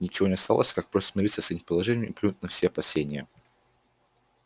ничего не оставалось как просто смириться с этим положением и плюнуть на все опасения